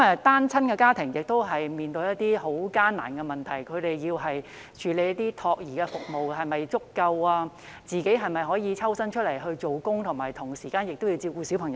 單親家庭面對很艱難的問題：他們需要的託兒服務是否足夠，讓家長可抽身外出工作，並同時照顧小孩？